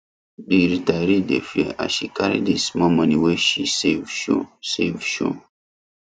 the retiree dey fear as she carry the small money wey she save show save show